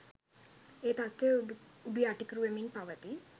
ඒ තත්ත්වය උඩු යටිකුරු වෙමින් පවතී